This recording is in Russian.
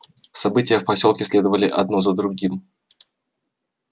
события в посёлке следовали одно за другим